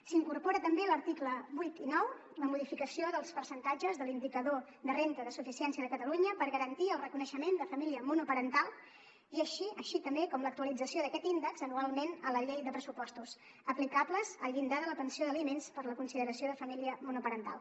s’incorpora també en els articles vuit i nou la modificació dels percentatges de l’indicador de renda de suficiència de catalunya per garantir el reconeixement de família monoparental així com l’actualització d’aquest índex anualment a la llei de pressupostos aplicables al llindar de la pensió d’aliments per la consideració de família monoparental